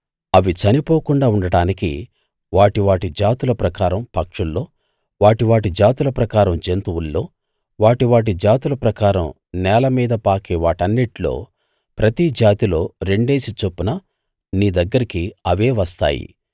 అవి చనిపోకుండా ఉండడానికి వాటి వాటి జాతుల ప్రకారం పక్షుల్లో వాటి వాటి జాతుల ప్రకారం జంతువుల్లో వాటి వాటి జాతుల ప్రకారం నేల మీద పాకే వాటన్నిట్లో ప్రతి జాతిలో రెండేసి చొప్పున నీ దగ్గరికి అవే వస్తాయి